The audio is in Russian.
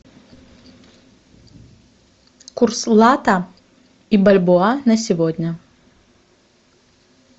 курс лата и бальбоа на сегодня